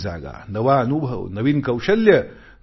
नवीन जागा नवा अनुभव नवीन कौशल्य